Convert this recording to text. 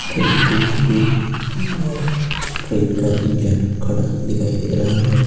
Train की bogie और train का इंजन खड़ा दिखाई दे रहा है।